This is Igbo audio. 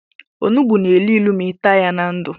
Ọnụgbu na élú ịlụ ma i taa ya na ndụ.